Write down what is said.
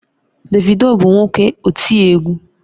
Davido bu nwoke oti egwu